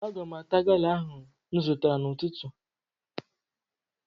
Aga m ata gala ahụ m zụtara n'ụtụtụ